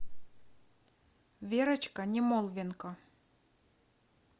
верочка немолвенко